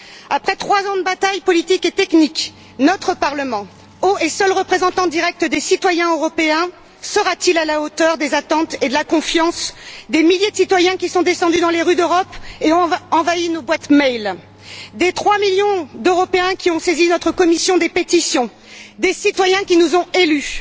Après trois ans de bataille politique et technique, notre Parlement, haut et seul représentant direct des citoyens européens, sera t il à la hauteur des attentes et de la confiance des milliers de citoyens qui sont descendus dans les rues d'Europe et nous ont inondés de courriels, des 3 millions d'Européens qui ont saisi notre commission des pétitions, des citoyens qui nous ont élus?